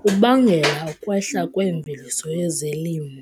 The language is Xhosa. kubangela ukwehla kweemveliso yezelimo.